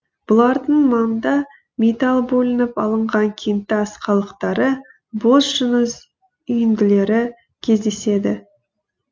бұлардың маңында металы бөлініп алынған кентас қалдықтары бос жыныс үйінділері кездеседі